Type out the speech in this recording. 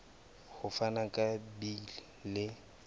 ho fana ka beile le